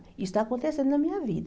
Isso está acontecendo na minha vida.